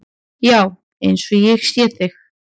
Já, eins og ég sé þig.